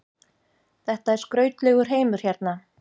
Þetta er skrautlegur heimur hérna.